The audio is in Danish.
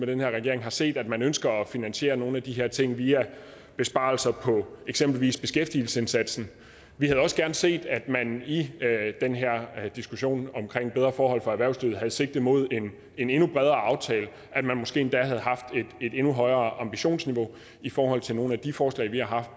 den her regering set at man ønsker at finansiere nogle af de her ting via besparelser på eksempelvis beskæftigelsesindsatsen vi havde også gerne set at man i den her diskussion omkring bedre forhold for erhvervslivet havde sigtet mod en endnu bredere aftale at man måske endda havde haft et endnu højere ambitionsniveau i forhold til nogle af de forslag vi har haft